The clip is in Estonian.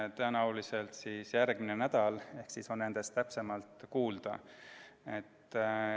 Tõenäoliselt järgmisel nädalal on nendest täpsemalt kuulda.